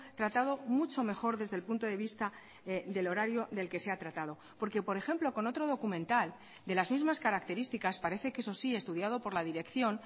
tratado mucho mejor desde el punto de vista del horario del que se ha tratado porque por ejemplo con otro documental de las mismas características parece que eso sí estudiado por la dirección